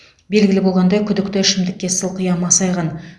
белгілі болғандай күдікті ішімдікке сылқия масайған